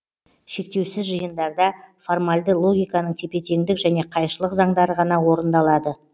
шектеусіз жиындарда формальды логиканың тепе теңдік және қайшылық заңдары ғана орындалады